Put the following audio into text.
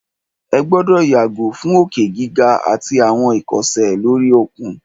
Ẹ gbọ́dọ̀ yàgò fún òkè gíga àtí àwọn ìkọsẹ̀ lóri òkun!